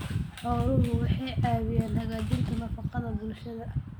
Xooluhu waxay caawiyaan hagaajinta nafaqada bulshada.